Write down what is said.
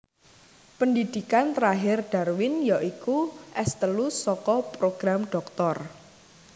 Pendhidhikan terakhir Darwin ya iku S telu saka program dhoktor